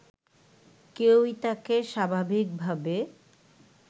কেউই তাকে স্বাভাবিকভাবে